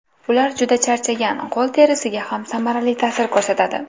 Ular juda charchagan qo‘l terisiga ham samarali ta’sir ko‘rsatadi.